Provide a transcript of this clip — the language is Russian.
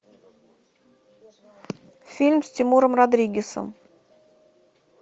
фильм с тимуром родригезом